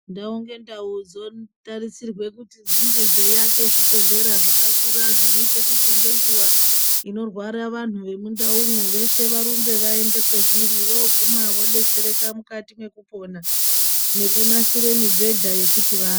Ndau ngendau dzonge dzeitarisirwa kuti dzinge dzeiaka zvibhehlera zvakakura zvinoita kuti ngenguwa imorwara vantu vemundaumwo veshe varumbe vaende zvezviri. Voguma vodetsereka mukati mwekupona nekunasira mubhedha yekuti vaate.